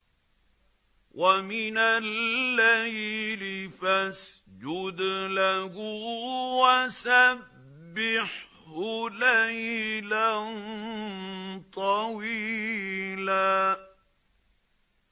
وَمِنَ اللَّيْلِ فَاسْجُدْ لَهُ وَسَبِّحْهُ لَيْلًا طَوِيلًا